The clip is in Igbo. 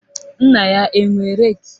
Nna ya enwe reki?